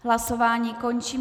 Hlasování končím.